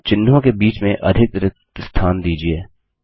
और चिह्नों के बीच में अधिक रिक्त स्थान दीजिये